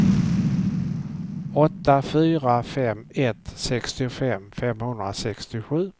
åtta fyra fem ett sextiofem femhundrasextiosju